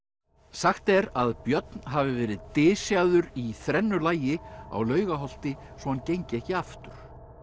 sagt er að Björn hafi verið í þrennu lagi á Laugarholti svo hann gengi ekki aftur